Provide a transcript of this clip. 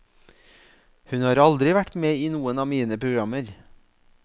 Hun har aldri vært med i noen av mine programmer.